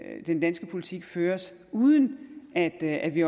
den danske politik føres uden at at vi